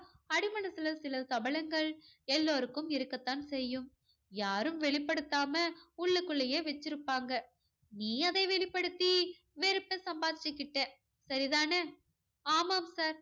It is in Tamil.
அடி மனசுல சில சபலங்கள் எல்லோருக்கும் இருக்கத்தான் செய்யும். யாரும் வெளிப்படுத்தாம உள்ளுக்குள்ளேயே வச்சிருப்பாங்க. நீ அதை வெளிப்படுத்தி வெறுப்ப சம்பாதிச்சுகிட்ட சரிதானே ஆமாம் sir